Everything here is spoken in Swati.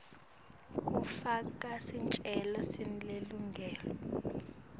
kufaka sicelo selilungelo